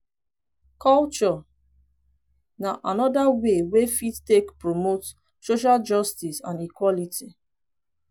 culture na anoda way wey fit take promote social justice and equality